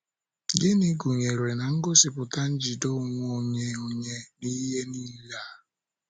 Gịnị gụnyere na-ngosipụta njide onwe onye onye n’ihe nile a?